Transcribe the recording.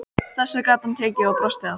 Þessu gat hann tekið og brosti að.